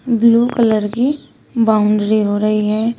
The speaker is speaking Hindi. ब्लू कलर की बाउंड्री हो रही है।